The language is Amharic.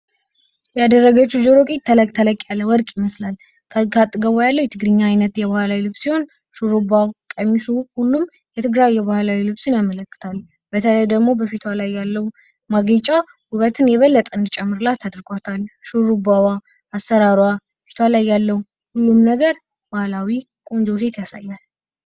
ያደረገችው ጆሮ ጌጥ ተለቅ ተለቅ ያለ ወርቅ ይመስላል። ከአጠገቡ ያለው የትግርኛ ዓይነት የባህላዊ ልብስ ሲሆን፤ ሹኡሩባ ቀሚሷ ሁሉም የትግራይ ባህላዊ ልብስ ያመለክታሉ። በተለይ ደግሞ በፊቱ ላይ ያለው ማጌጫ ውበትን የበለጠ እንዲጨምር አድርጎታል ሹሩባ አሠራሯ ፊቷ ላይ ያለው. ቁም ነገር ባህላዊ ቆንጆ ሴት ያሳየናል።